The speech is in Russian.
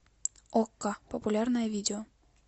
окко популярное видео